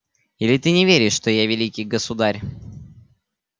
или ты не веришь что я великий государь